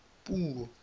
puo